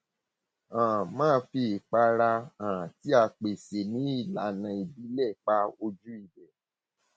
um máa fi ìpara um tí a psè ní ìlànà ìbílẹ pa ojú ibẹ